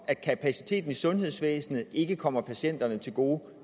at kapaciteten i sundhedsvæsenet ikke kommer patienterne til gode